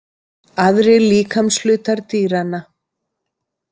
Aðrir líkamshlutar dýranna.